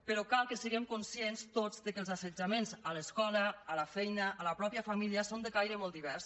però cal que siguem conscients tots que els assetjaments a l’escola a la feina a la mateixa família són de caire molt divers